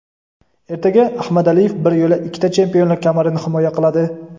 Ertaga Ahmadaliyev bir yo‘la ikkita chempionlik kamarini himoya qiladi.